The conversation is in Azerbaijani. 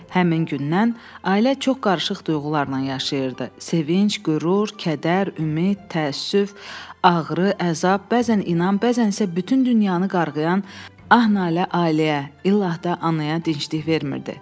Həmin gündən ailə çox qarışıq duyğularla yaşayırdı: sevinç, qürur, kədər, ümid, təəssüf, ağrı, əzab, bəzən inam, bəzən isə bütün dünyanı qarğıyan ah-nalə ailəyə, illah da anaya dinclik vermirdi.